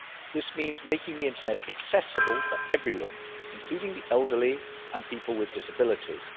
This means making the internet accessible for everyone, including the elderly and people with disabilities.